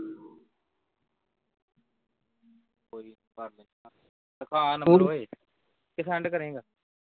ਕੋਈ ਦਿਖਾ number ਓਏ ਕਿ send ਕਰੇਂਗਾ